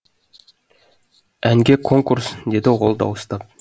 әнге конкурс деді ол дауыстап